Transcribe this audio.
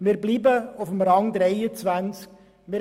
Wir bleiben auf Rang 23.